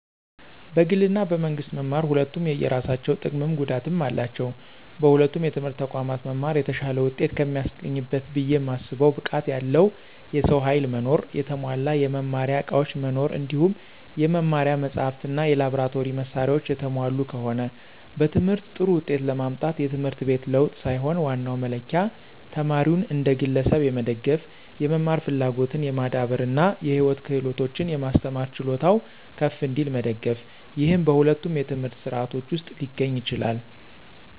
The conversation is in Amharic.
በግል እና በመንግስት መማር ሁለቱም የየራሳቸው ጥቀምም ጉዳትም አላቸው። በሁለቱም የትምህርት ተቋማት መማር የተሻለ ውጤት ከሚያስገኝበት ብየ ማስበው ብቃት ያለው የሰው ኃይል መኖር፣ የተሟላ የመማሪያ ዕቃዎች መኖር እንዲሁም የመማሪያ መጻሕፍት እና የላብራቶሪ መሳሪያዎች የተሟሉ ከሆነ። በትምህርት ጥሩ ውጤት ለማምጣት የትምህርት ቤት ለውጥ ሳይሆን ዋናው መለኪያ ተማሪውን እንደ ግለሰብ የመደገፍ፣ የመማር ፍላጎትን የማዳበር እና የህይወት ክህሎቶችን የማስተማር ችሎታው ከፍ እንዲል መደገፍ፤ ይህም በሁለቱም የትምህርት ሥርዓቶች ውስጥ ሊገኝ ይችላል።